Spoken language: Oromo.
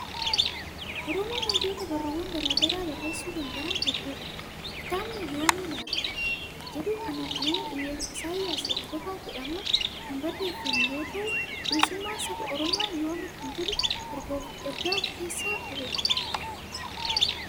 Oromoon hayyoota barruuwwan garaa garaa barreessuu danda'an hedduu qabdi . Kitaabni " Yoomi laata?" jedhu kun nama Isaayyaas Hordofaa jedhamuun kan barreeffame yoo ta'u, bilisummaan saba Oromoo yoomi kan jedhu ergaa of keessaa qabudha.